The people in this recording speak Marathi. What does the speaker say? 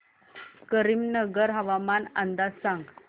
करीमनगर हवामान अंदाज सांग